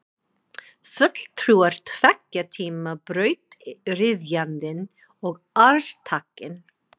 Fulltrúar tveggja tíma, brautryðjandinn og arftakinn.